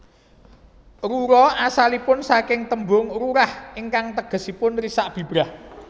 Rura asalipun saking tembung rurah ingkang tegesipun risak bibrah